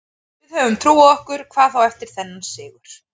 Við höfum trú á okkur, hvað þá eftir þennan sigur.